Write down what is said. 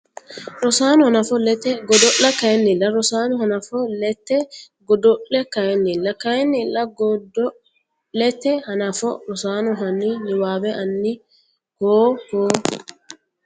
Rosaano hanafo lete godo Kayinnilla Rosaano hanafo lete godo Kayinnilla Kayinnilla godo lete hanafo Rosaano hanni niwaawe ani Koo Koo !